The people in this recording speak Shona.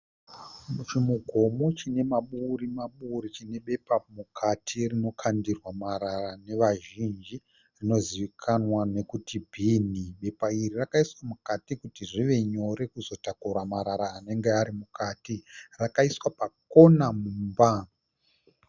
Chimugomo chine maburi maburi chine bepa mukati rinokandirwa marara nevazhinji rinozivikanwa nokuti bhini. Bepa iri rakaiswa mukati kuti zvive nyore kuzotakura marara anenge arimukati. Rakaiswa pakona mumba.